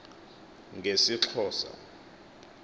ngesixhosa